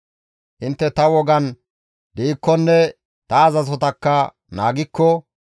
« ‹Intte ta wogan diikkonne ta azazotakka naagikko,